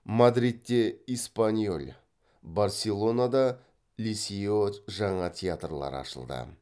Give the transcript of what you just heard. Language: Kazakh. мадридте эспаньоль барселонада лисео жаңа театрлар ашылды